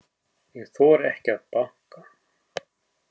Ég þori ekki að banka.